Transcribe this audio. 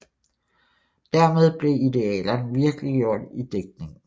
Dermed blev idealerne virkeliggjort i digtningen